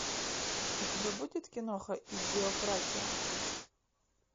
у тебя будет киноха идиократия